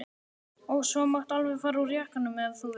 Og svo máttu alveg fara úr jakkanum ef þú vilt.